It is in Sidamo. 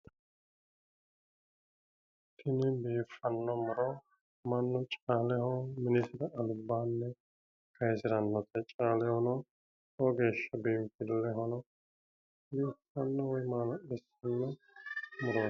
Tini biiffanno muro mannu caaleho minisira albaanni kayisirannote. Caalehono lowo geeshsha biinfillehono biiffanno woyi maala'lisanno murooti.